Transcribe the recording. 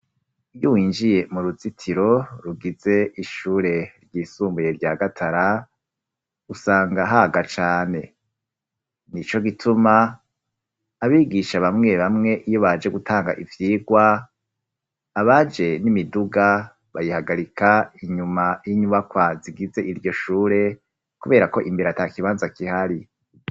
Iyo winjiye mu ruzitiro rugize ishure ryisumbuye rya Gatara, usanga haga cane; nico gituma abigisha bamwe bamwe iyo baje gutanga ivyigwa, abaje n'imiduga, bayihagarika inyuma y'inyubakwa zigize iryo shure, kubera ko imbere ata kibanza kihari.